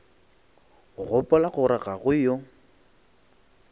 gopola gore ga go yo